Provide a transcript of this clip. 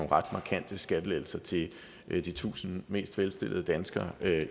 ret markante skattelettelser til de tusind mest velstillede danskere med